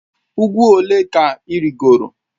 Ugwu ole ka i rigoro?